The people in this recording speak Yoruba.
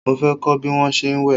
Mo fẹ́ kọ́ bí wón ṣe ń wẹ̀.